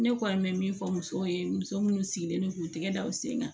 Ne kɔni bɛ min fɔ musow ye muso minnu sigilen don k'u tɛgɛ da u sen kan